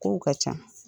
Kow ka ca